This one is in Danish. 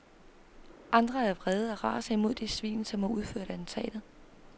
Andre er vrede og raser imod de svin, som har udført attentatet.